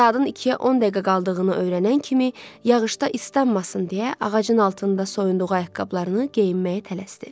Saatın ikiyə 10 dəqiqə qaldığını öyrənən kimi, yağışda islanmasın deyə ağacın altında soyunduğu ayaqqabılarını geyinməyə tələsdi.